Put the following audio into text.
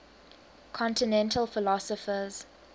continental philosophers